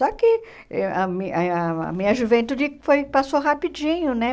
Só que eh a mi a minha juventude foi passou rapidinho, né?